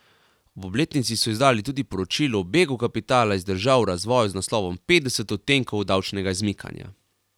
Ob obletnici so izdali tudi poročilo o begu kapitala iz držav v razvoju z naslovom Petdeset odtenkov davčnega izmikanja.